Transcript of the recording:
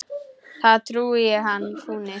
þar trúi ég hann fúni.